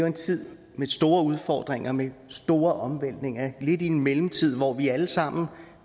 en tid med store udfordringer med store omvæltninger lidt i en mellemtid hvor vi alle sammen er